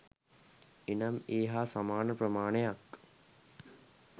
එනම් ඒ හා සමාන ප්‍රමාණයක්